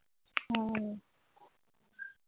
ও